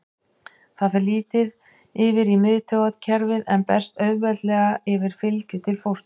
Það fer lítið yfir í miðtaugakerfið en berst auðveldlega yfir fylgju til fósturs.